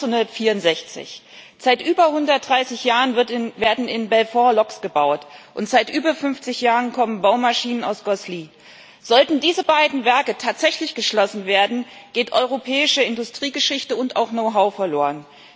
und 1964. Seit über 130 Jahren werden in Belfort Loks gebaut, und seit über 50 Jahren kommen Baumaschinen aus Grosselies. Sollten diese beiden Werke tatsächlich geschlossen werden, geht europäische Industriegeschichte und auch Know how verloren.